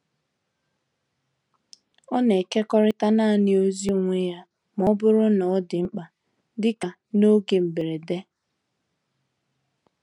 Ó na-ekekọrịta naanị ozi onwe ya ma ọ bụrụ na ọ dị mkpa, dịka n’oge mberede.